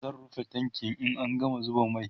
zan rufe tankin in an gama zuba mai